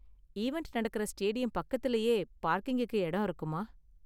Event நடக்குற stadium பக்கத்துலயே பார்க்கிங்குக்கு எடம் இருக்குமா?